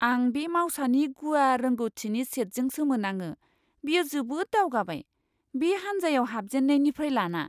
आं बे मावसानि गुवार रोंग'थिनि सेटजों सोमोनाङो, बियो जोबोद दावगाबाय, बे हान्जायाव हाबजेननायनिफ्राय लाना!